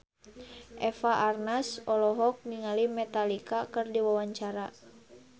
Eva Arnaz olohok ningali Metallica keur diwawancara